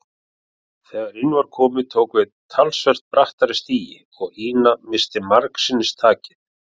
Þegar inn var komið tók við talsvert brattari stigi og Ína missti margsinnis takið.